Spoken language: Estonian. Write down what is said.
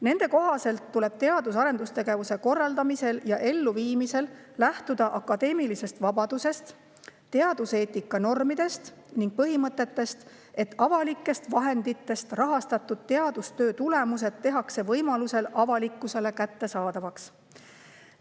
Nende kohaselt tuleb teadus‑ ja arendustegevuse korraldamisel ja elluviimisel lähtuda akadeemilisest vabadusest, teaduseetika normidest ning põhimõttest, et avalikest vahenditest rahastatud teadustöö tulemused tehakse võimalusel avalikkusele kättesaadavaks.